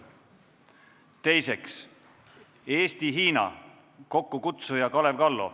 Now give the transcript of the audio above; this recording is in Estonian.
Teiseks, Eesti-Hiina, kokkukutsuja on Kalev Kallo.